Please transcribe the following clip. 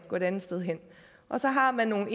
gå et andet sted hen og så har man